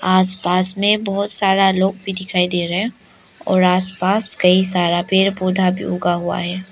आसपास में बहोत सारा लोग भी दिखाई दे रहे हैं और आसपास कई सारा पेड़ पौधा भी उगा हुआ है।